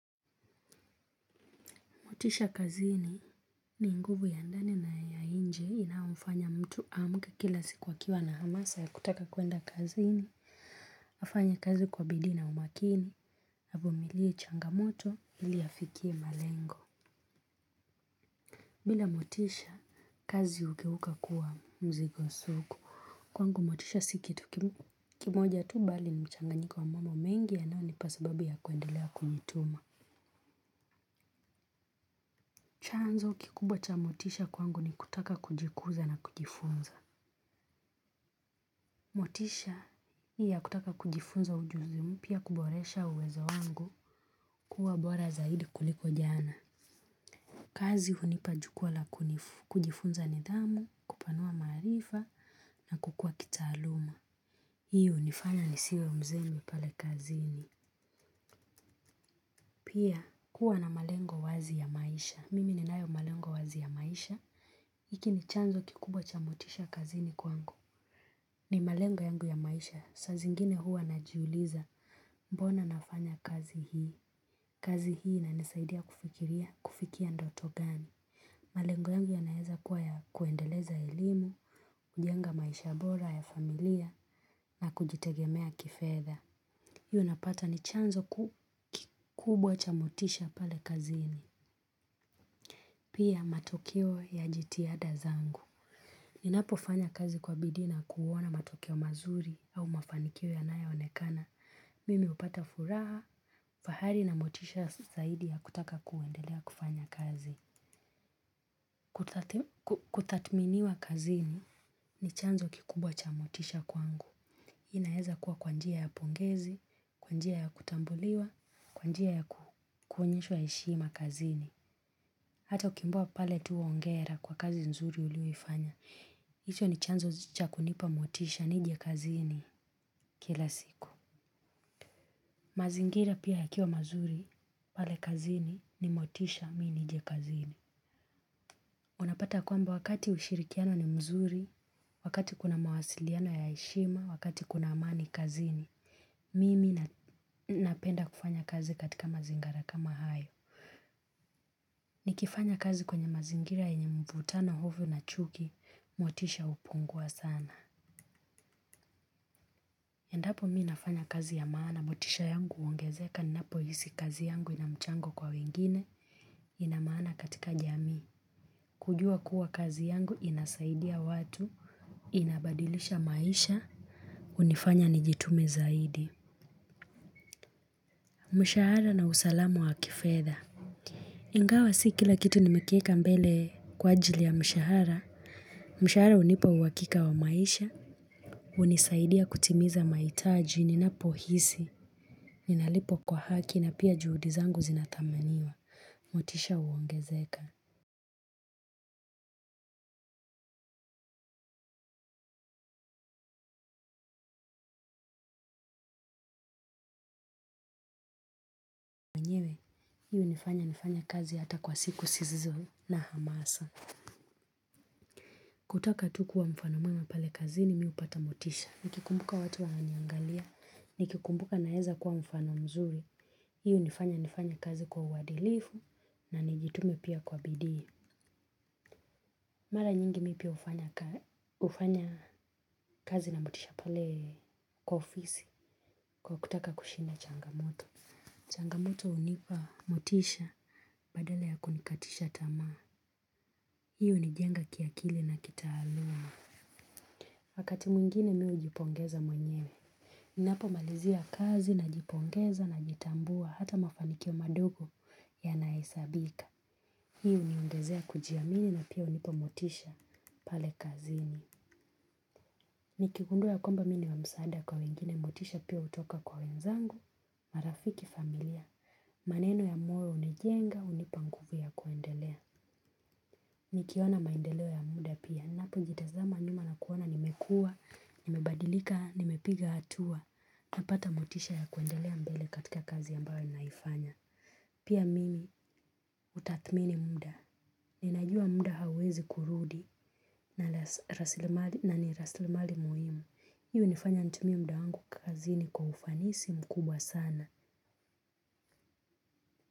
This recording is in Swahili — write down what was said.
Motisha kazini ni nguvu ya ndani na ya nje inaomfanya mtu aamke kila siku akiwa na hamasa ya kutaka kuenda kazini. Afanye kazi kwa bidii na umakini, avumilie changamoto, ili afikie malengo. Bila motisha, kazi hugeuka kuwa mzigo sugu. Kwangu motisha si kitu kimoja tu bali ni mchanganyiko wa mambo mengi yanayonipa sababu ya kuendelea kujituma. Chanzo kikubwa cha motisha kwangu ni kutaka kujikuza na kujifunza. Motisha hii ya kutaka kujifunza ujuzi mpya kuboresha uwezo wangu kuwa bora zaidi kuliko jana. Kazi hunipa jukwa la kujifunza nidhamu, kupanua maarifa na kukua kitaaluma. Hiyo hunifanya nisiwe mzembe pale kazini. Pia kuwa na malengo wazi ya maisha. Mimi ninayo malengo wazi ya maisha. Hiki ni chanzo kikubwa cha motisha kazini kwangu. Ni malengo yangu ya maisha. Saa zingine huwa najiuliza mbona nafanya kazi hii. Kazi hii inanisaidia kufikiria kufikia ndoto gani. Malengo yangu yanaeza kuwa ya kuendeleza elimu, kujenga maisha bora ya familia na kujitegemea kifedha. Hii unapata ni chanzo kikubwa cha motisha pale kazini. Pia matokeo ya jitihada zangu. Ninapofanya kazi kwa bidii na kuona matokeo mazuri au mafanikio yanayo onekana. Mimi hupata furaha, fahari na motisha zaidi ya kutaka kuendelea kufanya kazi. Kutathminiwa kazini ni chanzo kikubwa cha motisha kwangu. Hii inaeza kuwa kwa njia ya pongezi, kwa njia ya kutambuliwa, kwa njia ya kuonyeshwa heshima kazini. Hata ukiambiwa pale tu hongera kwa kazi nzuri ulioifanya. Hicho ni chanzo cha kunipa motisha nije kazini kila siku. Mazingira pia yakiwa mazuri pale kazini ni motisha mi nije kazini. Unapata kwamba wakati ushirikiano ni mzuri, wakati kuna mawasiliano ya heshima, wakati kuna amani kazini. Mimi napenda kufanya kazi katika mazingara kama hayo. Nikifanya kazi kwenye mazingira yenye mvutano hofu na chuki, motisha hupungua sana. Endapo mi nafanya kazi ya maana, motisha yangu huongezeka ninapohisi kazi yangu ina mchango kwa wengine, ina maana katika jamii. Kujua kuwa kazi yangu inasaidia watu, inabadilisha maisha, hunifanya nijitume zaidi. Mshahara na usalamu wa kifedha. Ingawa si kila kitu nimekieka mbele kwa ajili ya mshahara. Mshahara hunipa uhakika wa maisha hunisaidia kutimiza mahitaji ninapohisi. Ninalipwa kwa haki na pia juhudi zangu zinathaminiwa. Motisha huongezeka. Hii hunifanya nifanye kazi hata kwa siku zisizo na hamasa. Kutaka tu kuwa mfano mwema pale kazini mi hupata motisha. Nikikumbuka watu wananiangalia nikikumbuka naeza kwa mfano mzuri. Hii hunifanya nifanye kazi kwa uadilifu na nijitume pia kwa bidii. Mara nyingi mi pia hufanya kazi na motisha pale kwa ofisi kwa kutaka kushinda changamoto. Changamoto hunipa motisha badala ya kunikatisha tamaa. Hii hunijenga kiakili na kitaaluma. Wakati mwingine mi hujipongeza mwenyewe. Ninapomalizia kazi najipongeza najitambua hata mafanikio madogo yanahesabika. Hii huniongezea kujiamini na pia hunipa motisha pale kazini. Nikigundua ya kwamba mi ni wa msaada kwa wengine motisha pia hutoka kwa wenzangu, marafiki familia. Maneno ya moyo hunijenga hunipa nguvu ya kuendelea. Nikiona maendeleo ya muda pia. Ninapojitazama nyuma na kuona nimekua, nimabadilika, nimepiga hatua. Napata motisha ya kuendelea mbele katika kazi ambayo naifanya. Pia mimi hutathmini muda. Ninajua muda hauwezi kurudi. Na ni rasilimali muhimu hiyo hunifanya nitumie mda wangu kazini kwa ufanisi mkubwa sana.